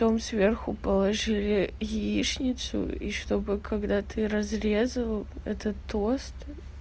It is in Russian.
потом сверху положили яичницу и чтобы когда ты разрезал это тост